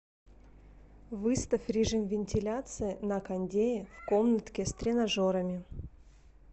выставь режим вентиляции на кондее в комнатке с тренажерами